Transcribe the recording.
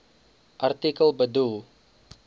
artikel bedoel